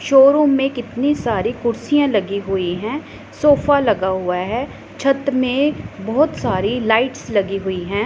Showroom में कितनी सारी कुर्सियां लगी हुई है सोफा लगा हुआ है छत में बहोत सारी लाइट्स लगी हुई है।